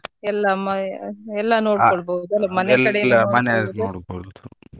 ಎಲ್ಲ ಎಲ್ಲಾ ನೋಡ್ಕೊಳ್ಬೋದು .